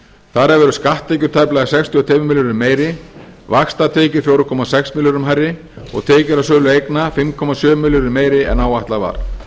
þar af eru skatttekjur tæplega sextíu og tveimur milljörðum meiri vaxtatekjur fjóra komma sex milljörðum hærri og tekjur af sölu eigna fimm komma sjö milljörðum meiri en áætlað var